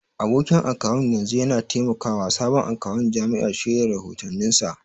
Abokin akawun yanzu yana taimakawa sabon akawun jami'a shirya rahotanninsa.